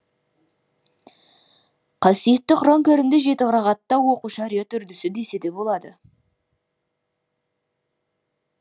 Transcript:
қасиетті құран кәрімді жеті қырағатта оқу шариат үрдісі десе де болады